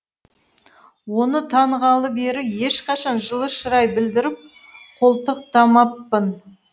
оны танығалы бері ешқашан жылы шырай білдіріп қолтықтамаппын